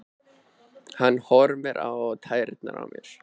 Hann horfir á tærnar á mér.